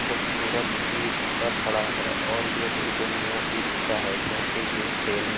खूबसूरत e rickshaw खड़ा है और ये बिल्कुल न्यू इ रिक्शा है क्योंकि ये सेल --